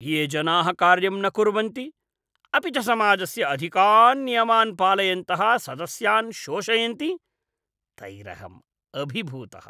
ये जनाः कार्यं न कुर्वन्ति अपि च समाजस्य अधिकान् नियमान् पालयन्तः सदस्यान् शोषयन्ति, तैरहम् अभिभूतः।